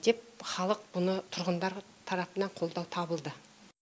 деп халық бұны тұрғындар тарапынан қолдау табылды